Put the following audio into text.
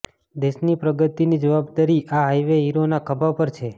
દેશની પ્રગતિની જવાબદારી આ હાઇવે હીરોના ખભા પર છે